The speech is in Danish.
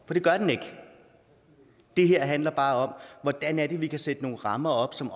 det gør den ikke det her handler bare om hvordan vi kan sætte nogle rammer op som